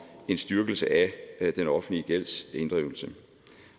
en styrkelse af den offentlige gældsinddrivelse